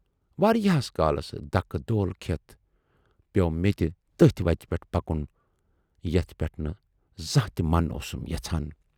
واریاہس کالس دَکہٕ دول کھٮ۪تھ پٮ۪و مےٚ تہِ تٔتھۍ وتہِ پٮ۪ٹھ پکُن یَتھ پٮ۪ٹھ نہٕ زانہہ تہِ من اوسُم پژان۔